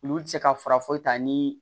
Olu tɛ se ka fara foyi ta ni